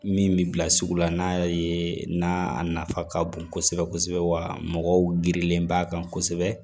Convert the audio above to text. Min bɛ bila sugu la n'a y'a ye n'a nafa ka bon kosɛbɛ kosɛbɛ wa mɔgɔ girilen b'a kan kosɛbɛ